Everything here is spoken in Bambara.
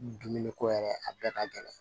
Dumuni ko yɛrɛ a bɛɛ ka gɛlɛn